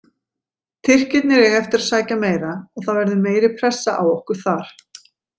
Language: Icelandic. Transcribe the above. Tyrkirnir eiga eftir að sækja meira og það verður meiri pressa á okkur þar.